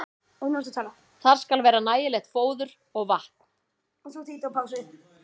Þar skal vera nægilegt fóður og vatn.